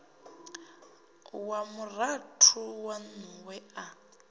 wa murathu waṋu we a